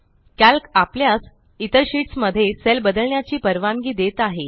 calc आपल्यास इतर sheets मध्ये सेल बदलण्याची परवानगी देत आहे